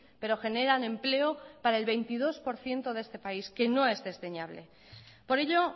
pero generan empleo para el veintidós por ciento de este país que no es desdeñable por ello